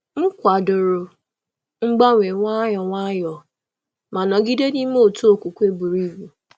M kwàdòrò mgbanwe nwayọ nwayọ, nwayọ, ma nọgide n’ime otu okwukwe buru ibu.